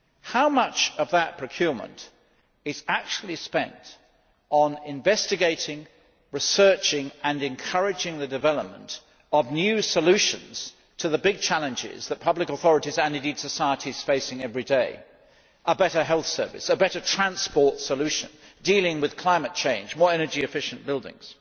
How much of that procurement is actually spent on investigating, researching and encouraging the development of new solutions to the big challenges that public authorities and indeed society face every day a better health service, a better transport solution, dealing with climate change, more energy efficient buildings?